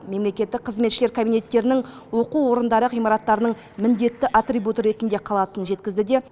мемлекеттік қызметшілер кабинеттерінің оқу орындары ғимараттарының міндетті атрибуты ретінде қалатынын жеткізді де